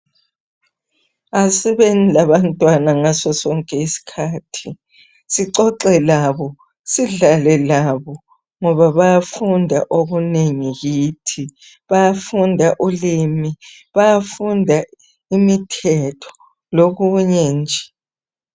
Asibeni labantwana ngaso sonke isikhathi, sixoxe labo, sidlale labo ngoba bayafunda okunengi kithi. Bayafunda ulimi, bayafunda imithetho lokunye nje.